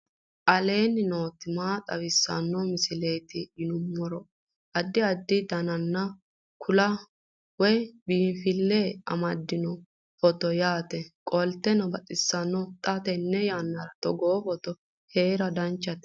aleenni nooti maa xawisanno misileeti yinummoro addi addi dananna kuula woy biinfille amaddino footooti yaate qoltenno baxissannote xa tenne yannanni togoo footo haara danchate